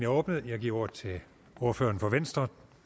åbnet jeg giver ordet til ordføreren for venstre